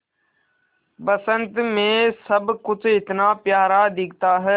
बसंत मे सब कुछ इतना प्यारा दिखता है